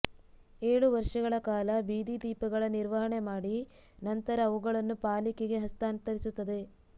ಏಳು ವರ್ಷಗಳ ಕಾಲ ಬೀದಿ ದೀಪಗಳ ನಿರ್ವಹಣೆ ಮಾಡಿ ನಂತರ ಅವುಗಳನ್ನು ಪಾಲಿಕೆಗೆ ಹಸ್ತಾಂತರಿಸುತ್ತದೆ